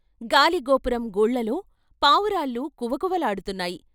గాలిగోపురం గూళ్ళలో పావురాళ్ళు కువకువ లాడుతున్నాయి.